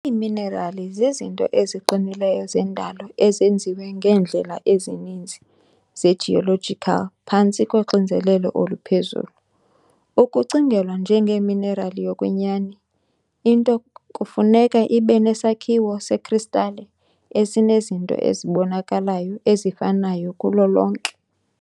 Iiminerali zizinto eziqinileyo zendalo ezenziwe ngeendlela ezininzi ze-geological phantsi koxinzelelo oluphezulu. Ukucingelwa njengeminerali yokwenyani, into kufuneka ibe nesakhiwo sekristale esinezinto ezibonakalayo ezifanayo kulo lonke.